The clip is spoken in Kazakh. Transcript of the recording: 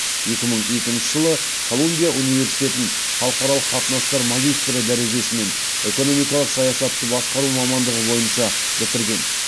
екі мың екінші жылы колумбия университетін халықаралық қатынастар магистрі дәрежесімен экономикалық саясатты басқару мамандығы бойынша бітірген